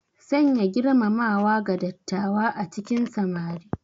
Sanya girmamawa ga dattawa a cikin samari.